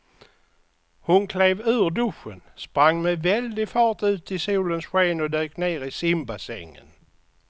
Hon klev ur duschen, sprang med väldig fart ut i solens sken och dök ner i simbassängen.